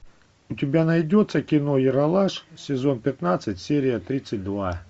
у тебя найдется кино ералаш сезон пятнадцать серия тридцать два